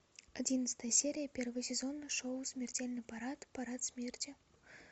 одиннадцатая серия первый сезон шоу смертельный парад парад смерти